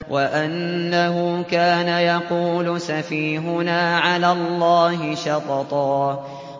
وَأَنَّهُ كَانَ يَقُولُ سَفِيهُنَا عَلَى اللَّهِ شَطَطًا